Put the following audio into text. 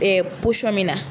Ɛɛ min na